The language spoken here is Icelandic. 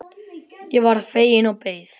Ég varð fegin og beið.